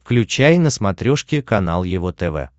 включай на смотрешке канал его тв